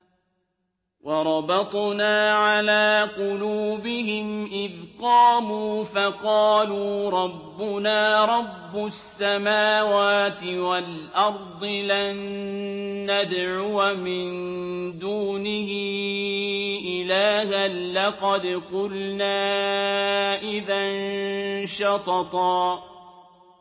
وَرَبَطْنَا عَلَىٰ قُلُوبِهِمْ إِذْ قَامُوا فَقَالُوا رَبُّنَا رَبُّ السَّمَاوَاتِ وَالْأَرْضِ لَن نَّدْعُوَ مِن دُونِهِ إِلَٰهًا ۖ لَّقَدْ قُلْنَا إِذًا شَطَطًا